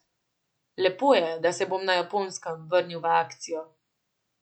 Lepo je, da se bom na Japonskem vrnil v akcijo.